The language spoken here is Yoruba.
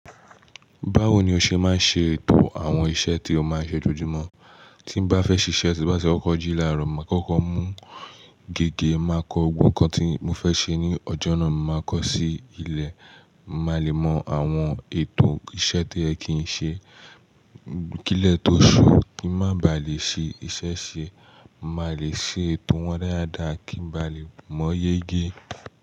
Báwo ni o ṣe máa ń ṣe ètò àwọn iṣẹ́ tí o máa ń ṣe lójoojúmọ́? Tí n bá fẹ́ ṣíṣe, tí bá ti wọkọ̀ jí láàárọ̀, màá kọ́kọ́ mú gègé, màá kọ ogún kan tí mo fẹ́ ṣe ní ọjọ́ náà, màá kọ ṣí ilẹ̀, màá le mọ àwọn ètò iṣẹ́ to yẹ kì í ṣe, kilẹ tó ṣú kí n má baà lè ṣe iṣẹ́ ṣe, mà lè ṣe ètò wọn dáadáa kí n ba lè mọ yege.